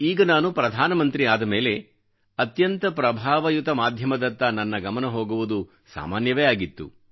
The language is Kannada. ಈಗ ನಾನು ಪ್ರಧಾನಮಂತ್ರಿ ಮಂತ್ರಿ ಆದ ಮೇಲೆ ಅತ್ಯಂತ ಪ್ರಭಾವಯುತ ಮಾಧ್ಯಮದತ್ತ ನನ್ನ ಗಮನ ಹೋಗುವುದು ಸಾಮಾನ್ಯವೇ ಆಗಿತ್ತು